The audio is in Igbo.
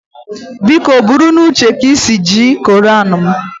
Biko buru n'uche ka i si eji koran m